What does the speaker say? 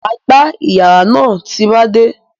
M á gbá ìyàrá náà tí mo bá dé.